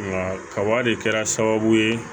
Nka kaba de kɛra sababu ye